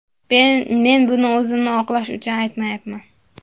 Men buni o‘zimni oqlash uchun aytmayapman.